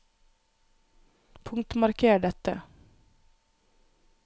Punktmarker dette